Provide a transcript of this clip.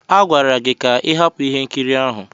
Agwara gị ka ị hapụ ihe nkiri ahụ.